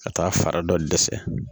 Ka taa fara dɔ dɛsɛ